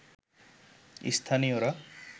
স্থানীয়রা